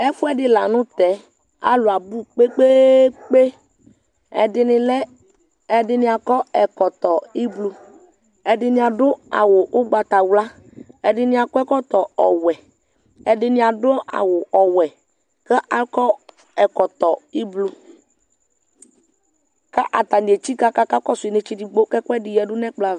ɛfoɛdi lantɛ alo abò kpekpekpe ɛdini lɛ ɛdini akɔ ɛkɔtɔ ublɔ ɛdini ado awu ugbata wla ɛdini akɔ ɛkɛtɔ ɔwɛ ɛdini ado awu ɔwɛ k'akɔ ɛkɔtɔ ublɔ k'atani etsika k'aka kɔsu inetse edigbo k'ɛkoedi yadu n'ɛkplɔ ava